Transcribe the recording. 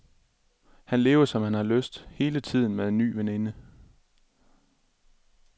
Han lever, som han har lyst, hele tiden med en ny veninde.